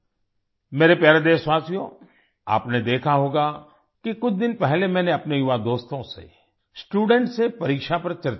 मेरे प्यारे देशवासियो आपने देखा होगा कि कुछ दिन पहले मैंने अपने युवा दोस्तों से स्टूडेंट्स से परीक्षा पर चर्चा की थी